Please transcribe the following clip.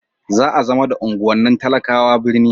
za a zama da unguwannin talakawa birni